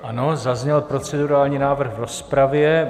Ano, zazněl procedurální návrh v rozpravě.